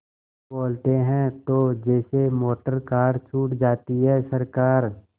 बोलते हैं तो जैसे मोटरकार छूट जाती है सरकार